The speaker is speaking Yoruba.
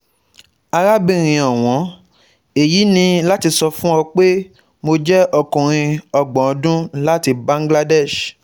Arábìnrin ọ̀wọ́n, Èyí ni láti sọ fún ọ pé, mo jẹ́ ọkùnrin ọgbọ̀n ọdún láti Bangladesh